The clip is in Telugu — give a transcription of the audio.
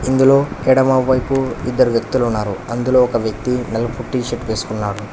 ఇందులో ఎడమవైపు ఇద్దరు వ్యక్తులు ఉన్నారు అందులో ఒక వ్యక్తి నలుపు టీ_షర్ట్ వేసుకున్నాడు.